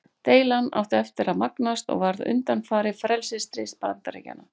Deilan átti eftir að magnast og varð undanfari frelsisstríðs Bandaríkjanna.